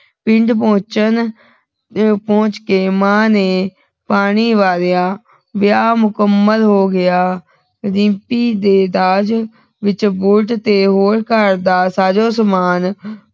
ਪਿੰਡ ਪਹੁੰਚਣ ਪਿੰਡ ਪਹੁੰਚ ਕੇ ਮਾਂ ਨੇ ਪਾਣੀ ਵਾਰਿਆ ਵਿਆਹ ਮੁਕੰਮਲ ਹੋ ਗਿਰਿੰਪੀ ਦੇ ਦਾਜ ਵਿਚ ਬੁਲਟ ਤੇ ਹੋਰ ਘਰ ਦਾ ਸਾਜੋ ਸਮਾਨ